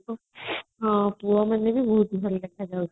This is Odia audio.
ହଁ ପୁଅମାନେ ବି ବହୁତ ଭଲ ଲାଗୁଥିଲେ